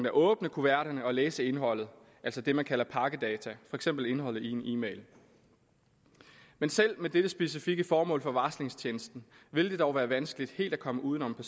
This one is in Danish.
at åbne kuverterne og læse indholdet altså det man kalder pakkedata for eksempel indholdet i en e mail men selv med dette specifikke formål for varslingstjenesten vil det dog være vanskeligt helt at komme uden om